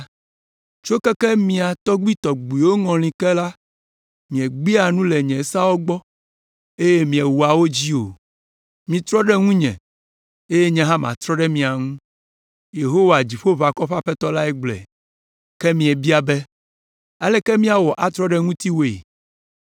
“Tso keke mia tɔgbuitɔgbuiwo ŋɔli ke la, miegbea nu le nye seawo gbɔ eye miewɔa wo dzi o. Mitrɔ ɖe ŋunye eye nye hã matrɔ ɖe mia ŋu.” Yehowa Dziƒoʋakɔwo ƒe Aƒetɔ lae gblɔe. “Ke miebia be, ‘Aleke míawɔ atrɔ ɖe ŋutiwòe?’